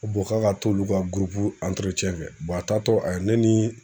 Ko k'a ka t'olu ka gurupu kɛ. a tatɔ a ye ne ni